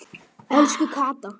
Elsku Kata.